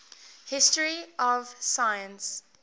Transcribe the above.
history of science